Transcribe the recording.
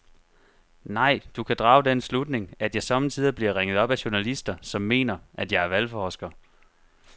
Nej, du kan drage den slutning, at jeg sommetider bliver ringet op af journalister, som mener, at jeg er valgforsker.